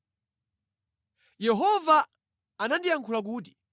Yehova anandiyankhula kuti: